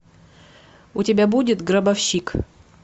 у тебя будет гробовщик